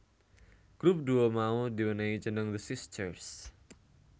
Grup duo mau di wenehi jeneng The Sisters